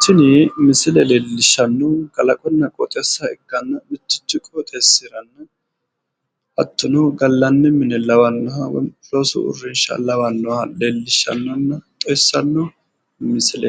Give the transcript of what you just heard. Tini misile leelishanohu biifanoha gallani mine